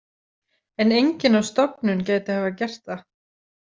En enginn á stofnun gæti hafa gert það.